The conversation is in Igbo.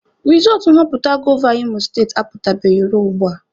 Rizọọtụ nhọpụta gọva Imo state apụtabeghị ruo ugbua.